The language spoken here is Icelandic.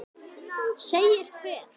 Segir hver?